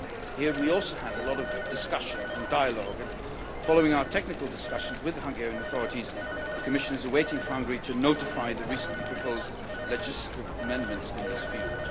Here we also had a lot of discussion and dialogue, and following our technical discussions with the Hungarian authorities the Commission is awaiting for Hungary to notify the recently proposed legislative amendments in this field.